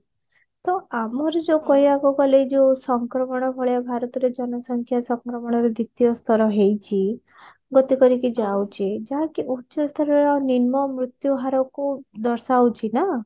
ତ ଆମର ଯଉ କହିବାକୁ ଗଲେ ଯଉ ସଂକ୍ରମଣ ବେଳେ ଭାରତର ଜନସଂଖ୍ୟା ସଂକ୍ରମଣର ଦ୍ଵିତୀୟ ସ୍ତର ହେଇଛି ଗତି କରିକି ଯାଉଛି ଯାହାକି ଯାହାକି ଉଚ୍ଚ ସ୍ତରର ନିମ୍ନ ମୃତ୍ୟୁ ହାରକୁ ଦର୍ଶାଉଛି ନା